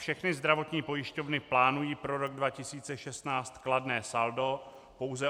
Všechny zdravotní pojišťovny plánují pro rok 2016 kladné saldo, pouze